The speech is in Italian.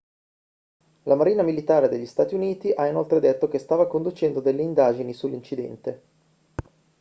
la marina militare degli stati uniti ha inoltre detto che stava conducendo delle indagini sull'incidente